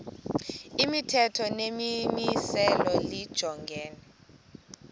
imithetho nemimiselo lijongene